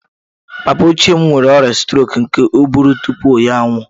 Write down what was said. Papa m ochie nwere ọrịa strok nke ụbụrụ tupu ya anwụọ